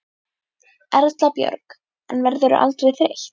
Erla Björg: En verðurðu aldrei þreytt?